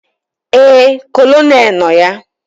Éè, Kolonel nọ ya